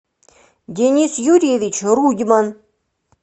денис юрьевич рудьман